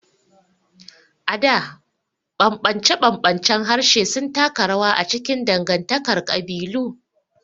A da, ɓamɓance-ɓamɓancen harshe sun taka rawa a cikin dangantakar kabilu.